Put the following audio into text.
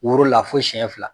Woro la fo siyɛn fila.